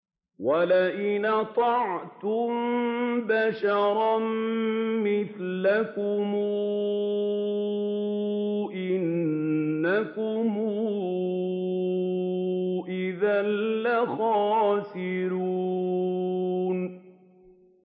وَلَئِنْ أَطَعْتُم بَشَرًا مِّثْلَكُمْ إِنَّكُمْ إِذًا لَّخَاسِرُونَ